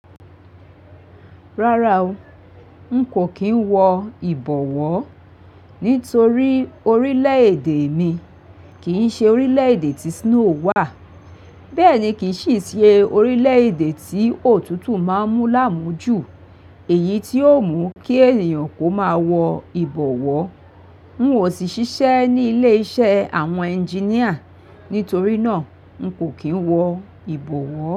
Rárá o, n kò kí n wọ ìbọ̀wọ́ nítorí orílẹ̀-èdè mi kìí ṣe orílẹ̀-èdè tí snow wà, bẹ́ẹ̀ ni kì í sì ṣe orílẹ̀-èdè tí òtútù máa ń mú lámújù, èyí tí ó mú kí ènìyàn kó máa wọ ìbọ̀wọ́. N ò sì ṣiṣẹ́ ní ilé-iṣẹ́ àwọn engineer, nítorí náà n kò kí n wọ ìbọ̀wọ́